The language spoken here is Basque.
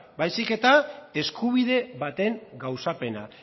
baizik eta eskubide baten gauzapena